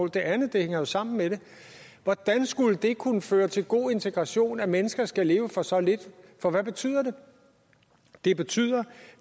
det andet hænger sammen med det hvordan skulle det kunne føre til god integration at mennesker skal leve for så lidt for hvad betyder det det betyder at